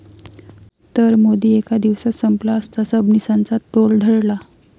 ...तर मोदी एका दिवसात संपला असता, सबनीसांचा तोल ढळला